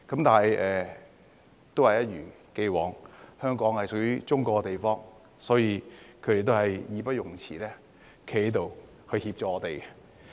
但是，一如既往，香港是屬於中國的地方，所以他們也義不容辭站在這裏協助我們。